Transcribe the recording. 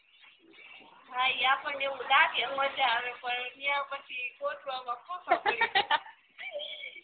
હા ઇ આપણને એવું લાગે મજા આવે પણ ઇયાં પાછો ગોતવામાં ફાંફાં પડી